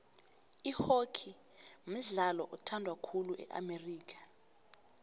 ihockey mdlalo othandwa khulu e amerika